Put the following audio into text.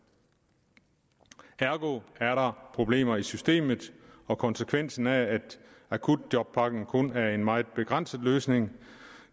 ergo er der problemer i systemet og konsekvensen af at akutjobpakken kun er en meget begrænset løsning